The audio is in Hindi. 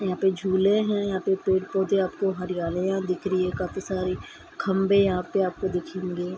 यहाँ पे झूले हैं | यहाँ पे पेड़ पौधे आपको हरियाली दिख रही है काफी सारी | खम्बे यहाँ पे आपको दिखेंगे |